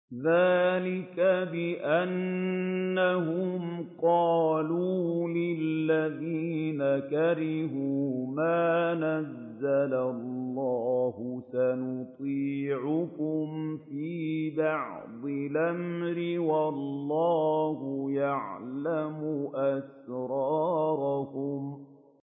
ذَٰلِكَ بِأَنَّهُمْ قَالُوا لِلَّذِينَ كَرِهُوا مَا نَزَّلَ اللَّهُ سَنُطِيعُكُمْ فِي بَعْضِ الْأَمْرِ ۖ وَاللَّهُ يَعْلَمُ إِسْرَارَهُمْ